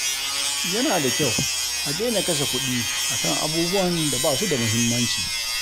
Yana da kyau a daina kashe kuɗi a kan abubuwan da ba su da muhimmanci.